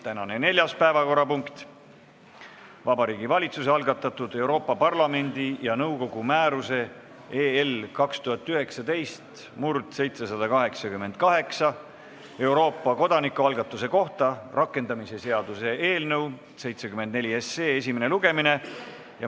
Tänane neljas päevakorrapunkt on Vabariigi Valitsuse algatatud Euroopa Parlamendi ja nõukogu määruse 2019/788 "Euroopa kodanikualgatuse kohta" rakendamise seaduse eelnõu 74 esimene lugemine.